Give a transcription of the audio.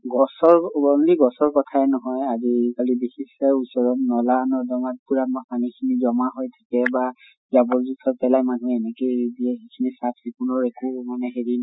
গছৰ only গছৰ কথাই নহয় অহ আজি কালি বিশেষকৈ ওচৰত নʼলা নৰ্দমাত পুৰা মা জমা হয় থাকে বা জাবৰ যোথৰ পেলাই মানুহে এনেকেই এৰি দিয়ে চাফ চিকুণৰ একো মানে হেৰি নাই